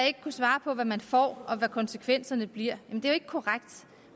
ikke kan svare på hvad man får og hvad konsekvenserne bliver men det er jo ikke korrekt